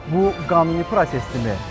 Bu qanuni prosesdirmi?